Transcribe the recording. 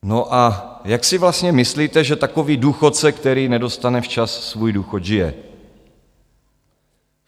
No a jak si vlastně myslíte, že takový důchodce, který nedostane včas svůj důchod, žije?